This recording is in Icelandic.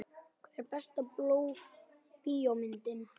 Hver er besta bíómyndin?